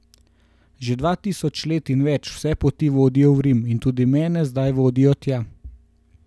Že dva tisoč let in več vse poti vodijo v Rim in tudi mene zdaj vodijo tja.